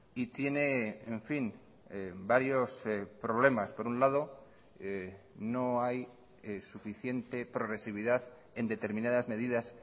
y tiene en fin varios problemas por un lado no hay suficiente progresividad en determinadas medidas